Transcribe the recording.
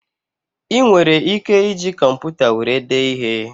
Ị nwere ike iji kọmputa were dee ihe